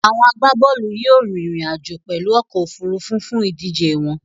Àwon agbábólù yio rín ìrìn àjò pèlu okò òfurufú fún ìdíje won